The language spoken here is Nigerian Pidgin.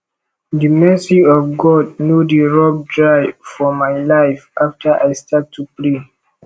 the mercy of god no dey rub dry for my life after i start to pray